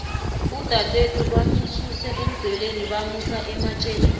udadwethu bamususe emdzweleni bamusa ematjeni